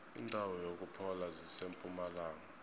indawo zokuphola zisempumalanga